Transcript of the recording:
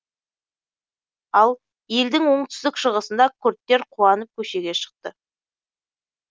ал елдің оңтүстік шығысында күрдтер қуанып көшеге шықты